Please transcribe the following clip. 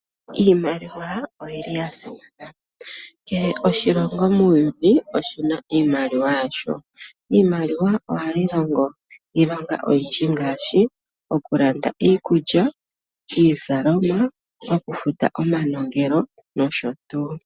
Iimaliwa oya simana. Kehe oshilongo muuyuni oshi na iimaliwa yasho. Iimaliwa ohayi longo iilonga oyindji ngaashi: okulanda iikulya niizalomwa, okufuta omanongelo nosho tuu.